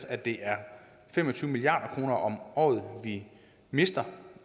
at det er fem og tyve milliard kroner om året vi mister